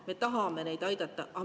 Me tahame neid aidata.